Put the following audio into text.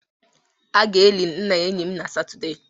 A ga-eli nna enyi m na Satọde